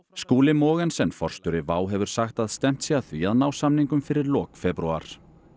Skúli Mogensen forstjóri WOW hefur sagt að stefnt sé að því að ná samningum fyrir lok febrúar